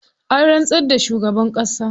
An rantsar da shugaban ƙasa.